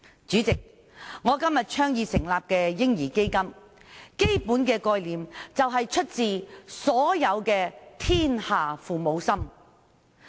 主席，我倡議成立的"嬰兒基金"，基本概念是出自"天下父母心"。